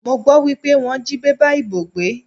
Mo gbọ́ wípé wọ́n jí bébà ìbò gbé.